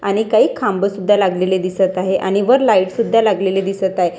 आणि काही खांबं लागलेली दिसत आहे आणि वर लाईट सुध्दा लागलेली दिसत आहे.